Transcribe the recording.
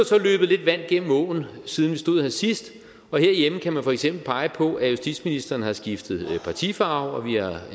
så løbet lidt vand igennem åen siden vi stod her sidst og herhjemme kan man for eksempel pege på at justitsministeren har skiftet partifarve og